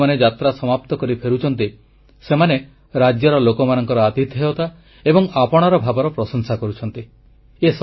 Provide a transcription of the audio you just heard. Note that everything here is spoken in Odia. ଯେଉଁ ଲୋକମାନେ ଯାତ୍ରା ସମାପ୍ତ କରି ଫେରୁଛନ୍ତି ସେମାନେ ରାଜ୍ୟର ଲୋକମାନଙ୍କର ଆତିଥେୟତା ଏବଂ ଆପଣାର ଭାବର ପ୍ରଶଂସା କରୁଛନ୍ତି